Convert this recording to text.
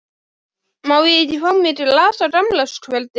Má ég ekki fá mér glas á gamlárskvöldi?